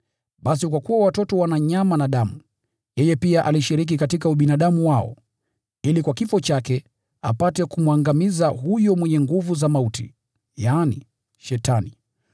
Basi kwa kuwa watoto wana nyama na damu, yeye pia alishiriki katika ubinadamu wao, ili kwa kifo chake, apate kumwangamiza huyo mwenye nguvu za mauti, yaani ibilisi,